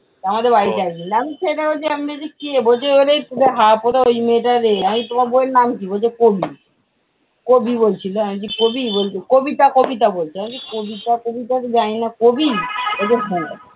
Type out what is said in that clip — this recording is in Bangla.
ছেলেটাকে বলছি আপনি কে? বলছে ওই মেয়েটার এ। আমি বলছি তোমার বৌয়ের নাম কি? বলছে কবি। কবি বলছিলো, আমি বলছি কবি? কবিতা কবিতা বলছে, আমি বলছি কবিতা টবিতা তো জানি না। কবি? বলছে হ্যাঁ।